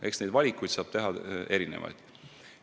Eks valikuid saab teha erinevaid.